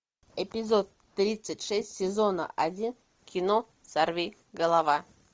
эпизод тридцать шесть сезона один кино сорвиголова